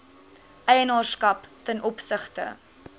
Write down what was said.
eienaarskap ten opsigte